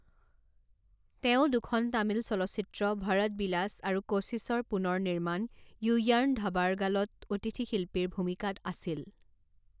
তেওঁ দুখন তামিল চলচ্চিত্ৰ, ভৰত বিলাস আৰু কোশিশৰ পুনৰনিৰ্মাণ য়ুয়াৰ্ণধাবাৰ্গালত অতিথি শিল্পীৰ ভূমিকাত আছিল।